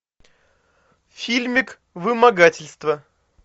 фильмик вымогательство